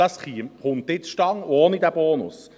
Das kommt auch ohne diesen Bonus zustande.